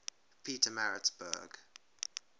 pietermaritzburg